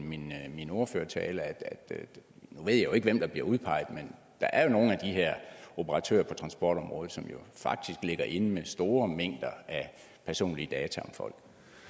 min ordførertale nu ved jeg jo ikke hvem der bliver udpeget men der er nogle af de her operatører på transportområdet som faktisk ligger inde med store mængder af personlige data om folk